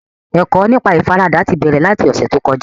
Ẹ̀kọ́ nípa ìfaradà ti bẹ̀rẹ̀ láti ọ̀sẹ̀ tó kọjá